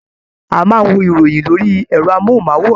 A máa n wo ìròyìn lórí ẹrọ mohunmaworan.